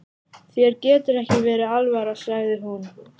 Þér getur ekki verið alvara, sagði hún.